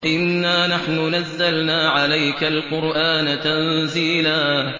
إِنَّا نَحْنُ نَزَّلْنَا عَلَيْكَ الْقُرْآنَ تَنزِيلًا